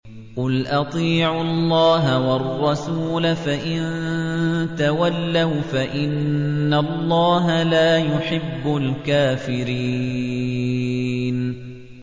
قُلْ أَطِيعُوا اللَّهَ وَالرَّسُولَ ۖ فَإِن تَوَلَّوْا فَإِنَّ اللَّهَ لَا يُحِبُّ الْكَافِرِينَ